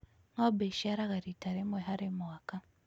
Ng'ombe ĩciaraga riita rĩmwe harĩ mwaka.